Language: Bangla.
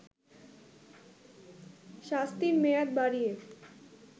শাস্তির মেয়াদ বাড়িয়ে